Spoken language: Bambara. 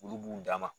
Olu b'u dama